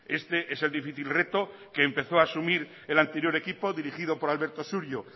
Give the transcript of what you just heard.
este es el difícil reto que empezó a asumir el anterior equipo dirigido por alberto surio